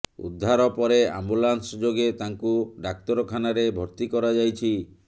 ଉଦ୍ଧାର ପରେ ଆମ୍ବୁଲାନ୍ସ ଯୋଗେ ତାଙ୍କୁ ଡାକ୍ତରଖାନାରେ ଭର୍ତ୍ତି କରାଯାଇଛି